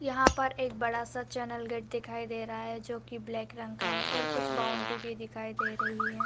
यहां पर एक बड़ा सा चैनल गेट भी दिखाई दे रही है जो की ब्लैक रंग का है और कुछ बाउंड्री भी दिखाई दे रही है।